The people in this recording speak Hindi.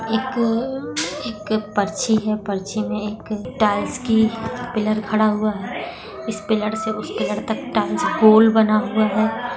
एक अ एक पर्ची है पर्ची में एक टाईल्स की पिलर खड़ा हुआ है इस पिलर से उस पिलर तक टाईल्स गोल बना हुआ है।